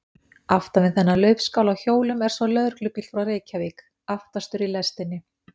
Aftan við þennan laufskála á hjólum er svo lögreglubíll frá Reykjavík, aftastur í lestinni.